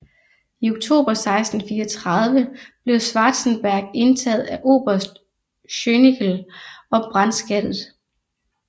I oktober 1634 blev Schwarzenberg indtaget af Oberst Schönickel og brandskattet